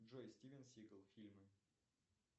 джой стивен сигал фильмы